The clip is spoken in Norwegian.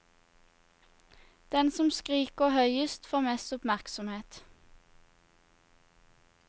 Den som skriker høyest får mest oppmerksomhet.